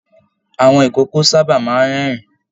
Àwọn ikòkò sábà máa n rẹ́rìn